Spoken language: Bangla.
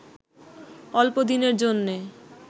অল্পদিনের জন্যে